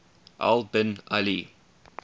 al bin ali